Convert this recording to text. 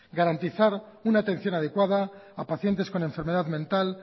garantizar una atención adecuada a pacientes con enfermedad mental